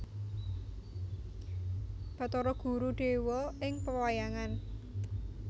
Bathara Guru dewa ing pewayangan